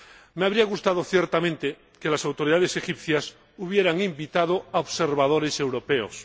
Me habría gustado ciertamente que las autoridades egipcias hubieran invitado a observadores europeos.